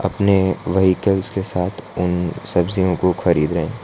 अपने व्हीकल के साथ उन सब्जीयों को खरीद रहे--